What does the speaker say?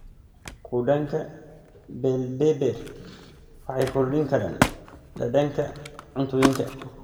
Khudaanka bell pepper waxay kordhin karaan dhadhanka cuntooyinka.